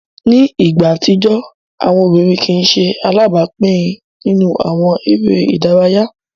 Ni igba atijọ, awọn obirin kii ṣe alabapin ninu awọn ere idaraya.